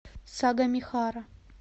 сагамихара